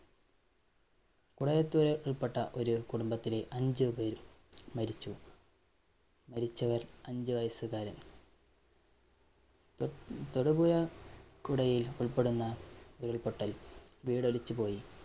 കുറെ പേര്‍ ഉള്‍പെട്ട ഒരു കുടുംബത്തിലെ അഞ്ചുപേര്‍ മരിച്ചു. മരിച്ചവര്‍ അഞ്ചു വയസ്സുകാരന്‍ തൊതൊടുപുഴ കുടയില്‍ ഉള്‍പ്പെടുന്ന ഉരുള്‍പൊട്ടല്‍ വീടൊലിച്ചു പോയി.